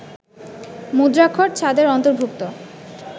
মুদ্রাক্ষর ছাঁদের অন্তর্ভুক্ত